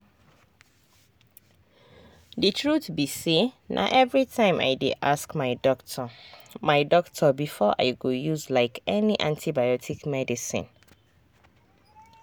the truth be sayna everytime i dey ask my doctor my doctor before i go use like any antibiotic medicine.